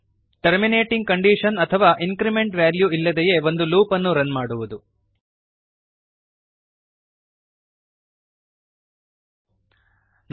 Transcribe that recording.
terminating condition terminating condition ಅಥವಾ increment value increment value ಇಲ್ಲದೆಯೇ ಒಂದು ಲೂಪ್ ಅನ್ನು ರನ್ ಮಾಡಬೇಕು